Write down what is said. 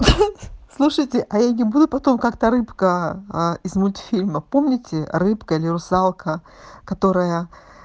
слушайте а я не буду потом как-то рыбка из мультфильма помните рыбка или русалка которая